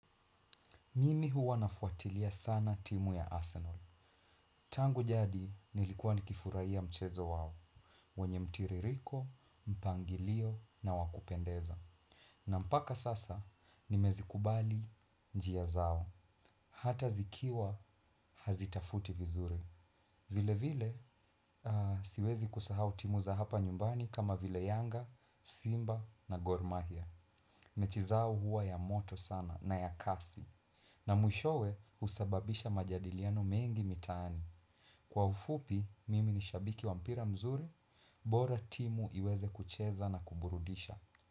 Mimi huwa nafuatilia sana timu ya Arsenal. Tangu jadi nilikuwa nikifurai a mchezo wao. Wenye mtiririko, mpangilio na wakupendeza. Na mpaka sasa nimezikubali njia zao. Hata zikiwa hazitafuti vizuri. Vile vile siwezi kusahau timu za hapa nyumbani kama vile yanga, simba na gormahia. Mechi zao huwa ya moto sana na ya kasi. Na mwishowe usababisha majadiliano mengi mitaani. Kwa ufupi, mimi ni shabiki wa mpira mzuri, bora timu iweze kucheza na kuburudisha.